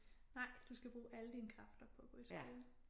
Nej du skal bruge alle dine kræfter på at gå i skole